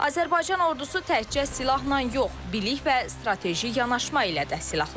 Azərbaycan Ordusu təkcə silahla yox, bilik və strateji yanaşma ilə də silahlanır.